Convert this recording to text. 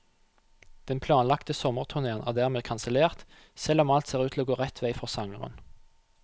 Den planlagte sommerturnéen er dermed kansellert, selv om alt ser ut til å gå rett vei for sangeren.